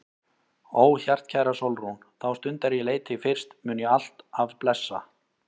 Ó hjartkæra Sólrún, þá stund er ég leit þig fyrst mun ég alt af blessa.